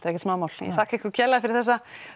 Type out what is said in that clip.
ekkert smámál þakka ykkur kærlega fyrir þessa